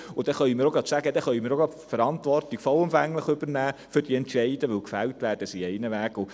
Deshalb können wir gleich die vollumfängliche Verantwortung für diese Entscheide übernehmen, denn gefällt werden sie sowieso.